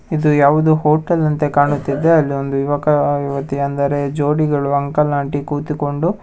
ಇದು ಯಾವುದು ಹೋಟೆಲ್ ನಂತೆ ಕಾಣುತ್ತಿದೆ ಅಲ್ಲಿ ಒಂದು ಯುವಕ ಯುವತಿ ಅಂದರೆ ಜೋಡಿಗಳು ಅಂಕಲ್ ಆಂಟಿ ಕೂತಿಕೊಂಡು--